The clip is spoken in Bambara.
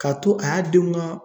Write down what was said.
K'a to a y'a denw ka